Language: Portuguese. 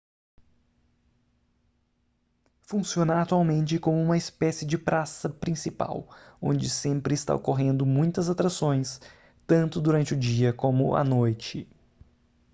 funciona atualmente como uma espécie de praça principal onde sempre está ocorrendo muitas atrações tanto durante o dia como a noite